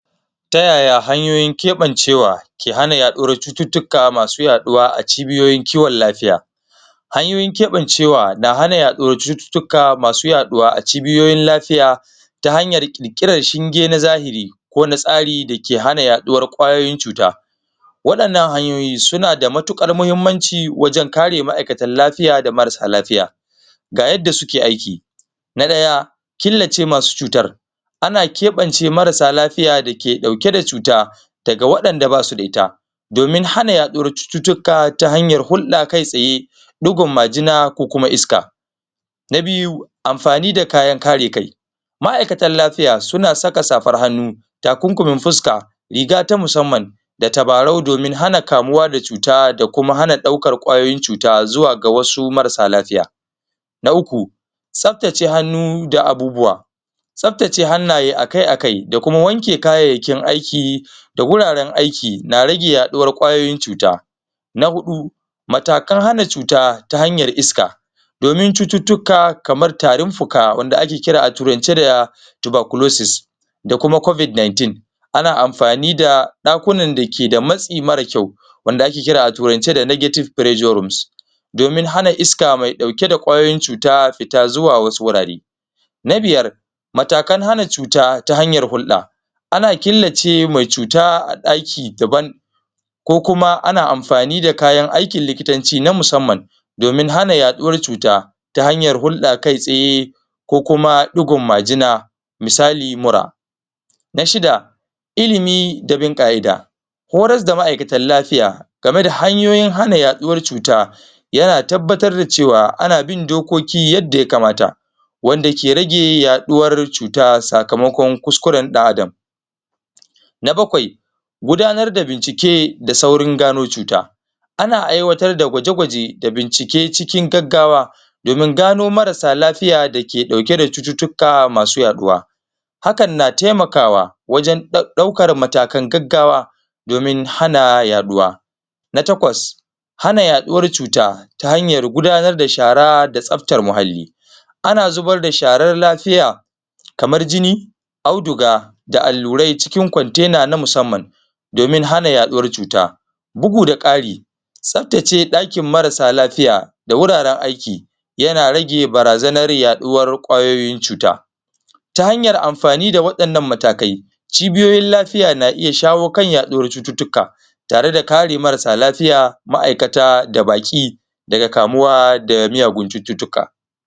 Ta yaya hanyoyin keɓancewa ke hana yaɗuwar cututtuka masu yaɗuwa a cibiyoyin kiwon lafiya? Hanyoyin keɓancewa na hada yaɗuwar cututtuka masu yaɗuwa a cibiyoyin lafiya ta hanyar ƙirƙirar shinge na zahiri ko na tsari dake hana yaɗuwar kwayoyin cuta waɗannan hanyoyi suna da matuƙar muhimmanci wajenkare ma'aikatan lafiya da marasa lafiya, ga yadda suke aiki na ɗaya killace masu cutar ana keɓance marasa lafiya dake ɗauke da cuta daga waɗanda ba su da ita domin hana yaɗuwar cututtuka ta hanyar hulɗa kai tsaye bugun majina ko kuma iska, na biyu amfani da kayan kare kai ma'aikatan lafiya suna saka safar hannu takunkumin fuskan riga ta musamman da tabarau domin hana kamuwa da cuta da kuma hana ɗaukar kwayoyin cuta zuwa ga wasu marasa lafiya na uku tsaftace hannu da abubuwa tsaftace hannaye akai-akai da kuma wanke kayayyakin aiki da wuraren aiki na rage yaɗuwar kwayoyin cuta na huɗu matakan hana cuta ta hanyar iska domin cututtuka kamar tarin fuka wanda ake kira da turance da Tuberclusis da kuma covid 19 ana amfani da ɗakunan dake da matsi marar kyau wanda ake kira da turance da Nagetive presure rooms domin hana iska me ɗauke kwayoyin cuta fita zawu wasu wurare. Na biyar matakan hana cuta ta hanyar hulɗa ana killace me cuta a ɗaki daban ko kuma ana amfani da kayan aikin likitanci na musamman domin hana yaɗuwar cuta ta hanyar huɗa kai tsaye ko kuma ɗigon majina misali mura. Na shida ilimi da bin ƙa'ida horas da ma'aikatan lafiya game da hanyoyin hana yaɗuwar cuta yana tabbatar da cewa ana bin dokoki yadda ya kamata wanda ke rage yaɗuwar cuta sakamakon kuskuren ɗan adam. Na bakwai gudanar da bincike da saurin gano cuta ana aiwatar da kwaje-kwaje da bincike cikin gaggawa domin gano marasa lafiya dake ɗauke da cututtuka masu yaɗuwa hakan na taimakawa wajen ɗaukar matakan gaggawa domin hana yaɗuwa. Na takwas hana yaɗuwar cuta ta hanyar gudanar da shara da tsaftar muhalli ana zubar da sharar lafiya kamar jini auduga da allurai cikin kwantena na musamman domin hana yaɗuwar cuta bugu da ƙari tsaftace ɗakin marasa lafiya da wuraren aiki yana rage barazanar yaɗuwar kwayoyin cuta ta hanyar amfani da waɗannan matakai cibiyoyin lafiya na iya shawakan yaɗuwar cututtuka tare da kare marasa lafiya ma'aikata da baƙi daga kamuwa da miyagun cututtuka